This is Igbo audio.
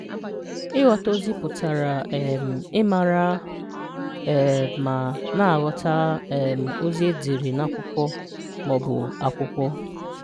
Ị́ghọ̀tà̀ òzì pụtara um ị́màrà̀ um ma na-aghọ̀tà̀ um òzì e déré n’ákwụ̀kwọ̀ ma ọ̀bụ̀ ákwụ̀kwọ̀